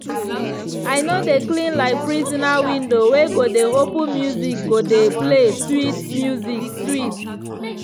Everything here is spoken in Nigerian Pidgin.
i no dey clean like prisoner window go dey open music go dey play sweat must sweet.